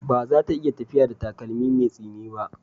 Ba za ta iya tafiya da takalmi mai tsini ba.